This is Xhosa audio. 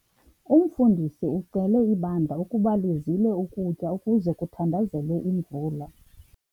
Umfundisi ucele ibandla ukuba lizile ukutya ukuze kuthandazelwe imvula.